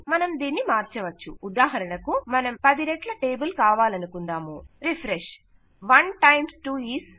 మనం దీన్ని మార్చవచ్చు ఉదాహరణకు మనము 10 రెట్ల టేబుల్ కావాలనుకుందాము రిఫ్రెష్ 1 టైమ్స్ 2 ఈజ్